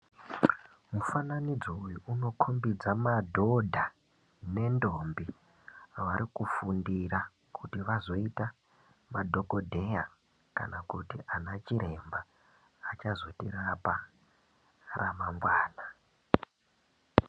Mufananidzo uyu unokombidza madhodha nendombi varikufundira kuti vazoita madhogodheya kana kuti anachiremba achazotirapa ramangwana.